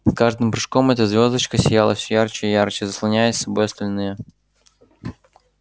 с каждым прыжком эта звёздочка сияла всё ярче и ярче заслоняя собой остальные